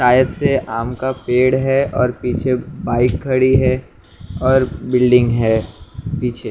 शायद से आम का पेड़ है और पीछे बाइक खड़ी है और बिल्डिंग है पीछे।